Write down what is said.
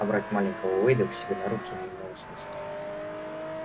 а брать маленького уэйда к себе на руки не имело смысла